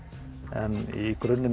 en í grunninn